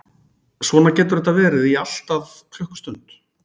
Svona getur þetta verið í allt að klukkustund.